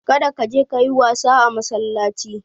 Kar ka je ka yi wasa a massalaci.